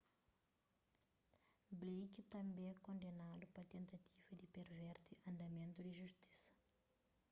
blake tanbê kondenadu pa tentativa di perverti andamentu di justisa